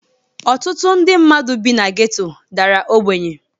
Ọtụtụ ndị mmadu bi na geto dara ogbenye.